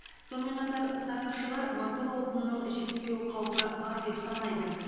сонымен қатар сарапшылар мотор отынының жетіспеу қаупі бар деп санайды